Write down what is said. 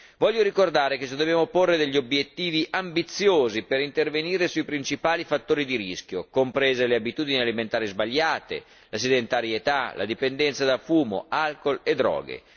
Voglio ricordare che ci dobbiamo porre degli obiettivi ambiziosi per intervenire sui principali fattori di rischio, comprese le abitudini alimentari sbagliate, la sedentarietà, la dipendenza da fumo, alcol e droghe.